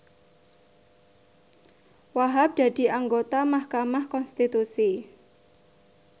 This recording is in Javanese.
Wahhab dadi anggota mahkamah konstitusi